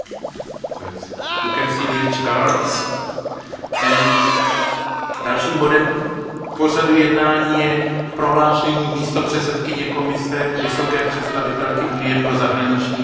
Dalším bodem je prohlášení místopředsedkyně Komise vysoké představitelky Unie pro zahraniční věci a bezpečnostní politiku k současnému stavu mírového procesu na Blízkém východě.